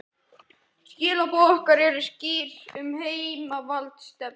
Skilaboð okkar eru skýr um heimsvaldastefnuna